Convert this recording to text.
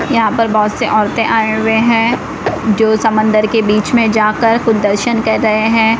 यहां पर बहोत से औरतें आए हुए हैं जो समंदर के बीच में जाकर खुद दर्शन कर रहे हैं।